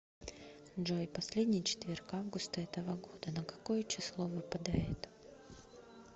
джой последний четверг августа этого года на какое число выпадает